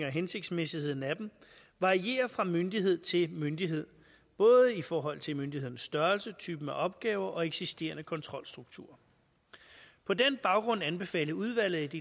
og hensigtsmæssigheden af dem varierer fra myndighed til myndighed både i forhold til myndighedens størrelse typen af opgaver og eksisterende kontrolstruktur på den baggrund anbefalede udvalget